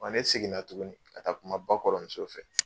Ne seginna tuguni ka taa kuma ba kɔrɔmuso fɛ.